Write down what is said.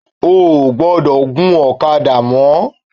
Ó ò gbọ́dọ̀ gun ọ̀kadà mọ